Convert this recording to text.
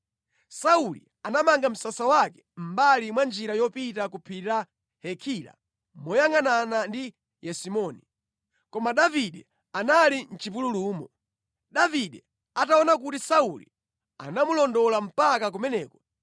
Sauli anamanga msasa wake mʼmbali mwa njira yopita ku phiri la Hakila moyangʼanana ndi Yesimoni. Koma Davide anali mʼchipululumo. Davide ataona kuti Sauli amamulondola mpaka kumeneko,